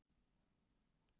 Það er enn vor.